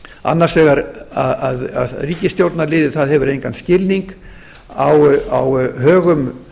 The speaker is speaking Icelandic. annars vegar að ríkisstjórnarliðið hefur engan skilning á högum